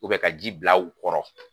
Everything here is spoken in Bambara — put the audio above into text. ka ji bila u kɔrɔ.